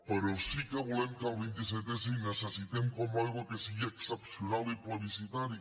però sí que volem que el vint set s i ho necessitem com l’aigua sigui excepcional i plebiscitari